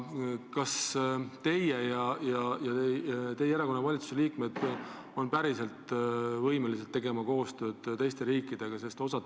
Kas teie olete võimeline koos teiste teie erakonna esindajatega valitsuses tegema koostööd teiste riikidega?